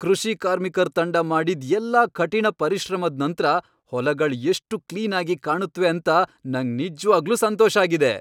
ಕೃಷಿ ಕಾರ್ಮಿಕರ್ ತಂಡ ಮಾಡಿದ್ ಎಲ್ಲಾ ಕಠಿಣ ಪರಿಶ್ರಮದ್ ನಂತ್ರ ಹೊಲಗಳ್ ಎಷ್ಟು ಕ್ಲೀನ್ ಆಗಿ ಕಾಣುತ್ವೆ ಅಂತ ನಂಗ್ ನಿಜ್ವಾಗ್ಲೂ ಸಂತೋಷ ಆಗಿದೆ.